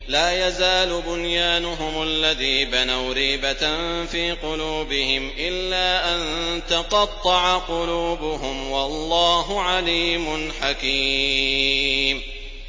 لَا يَزَالُ بُنْيَانُهُمُ الَّذِي بَنَوْا رِيبَةً فِي قُلُوبِهِمْ إِلَّا أَن تَقَطَّعَ قُلُوبُهُمْ ۗ وَاللَّهُ عَلِيمٌ حَكِيمٌ